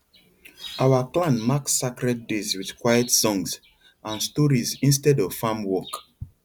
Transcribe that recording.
our clan mark sacred days with quiet songs and stories instead of farm work